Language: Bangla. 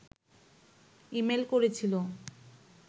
ইমেইল করেছিল